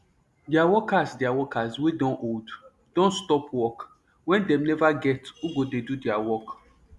deir workers deir workers wey don old don stop work wen dem neva get who go dey do deir work